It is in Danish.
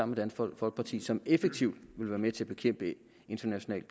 med dansk folkeparti og som effektivt ville være med til at bekæmpe international